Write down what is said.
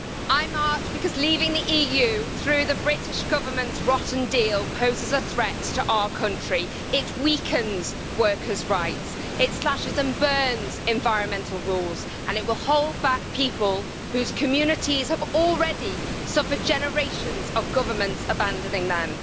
I marched because leaving the EU through the British Government's rotten deal poses a threat to our country. It weakens workers' rights, it slashes and burns environmental rules, and it will hold back people whose communities have already suffered generations of governments abandoning them.